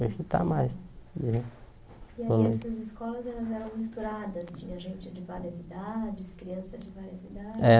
É que está mais não é E aí essas escolas elas eram misturadas, tinha gente de várias idades, crianças de várias idades? É